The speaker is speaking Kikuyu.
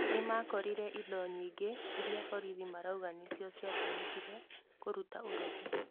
Nĩmakorire indo nyingĩ iria borithi marauga nĩcio ciatũmìkire kũruta ũrogi